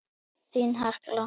Þín, Hekla.